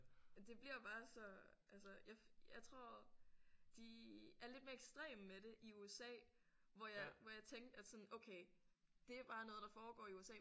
Det bliver bare så altså jeg jeg tror de er lidt mere ekstreme med det i USA hvor jeg hvor jeg tænkte at sådan okay det er bare noget der foregår i USA